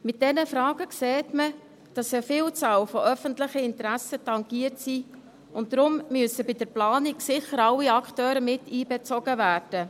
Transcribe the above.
– Aufgrund dieser Fragen sieht man, dass eine Vielzahl öffentlicher Interessen tangiert ist, und deshalb müssen bei der Planung bestimmt alle Akteure mit einbezogen werden.